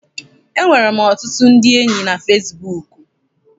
Enwere m ọtụtụ ndị enyi na fesibuuku.